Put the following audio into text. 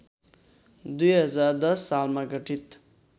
२०१० सालमा गठित